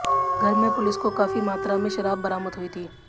घर में पुलिस को काफी मात्रा में शराब बरामद हुई थी